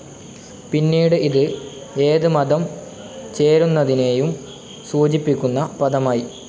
പിന്നീട് ഇത് ഏത് മതം ചേരുന്നതിനേയും സൂചിപ്പിക്കുന്ന പദമായി.